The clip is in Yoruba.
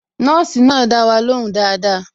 Nọ́ọ̀sì náà dá wa ló hùn dáadáa